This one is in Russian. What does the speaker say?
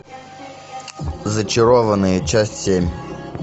зачарованные часть семь